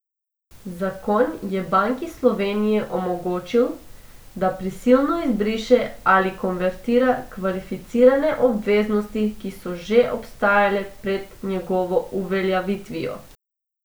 Zakon je Banki Slovenije omogočil, da prisilno izbriše ali konvertira kvalificirane obveznosti, ki so že obstajale pred njegovo uveljavitvijo.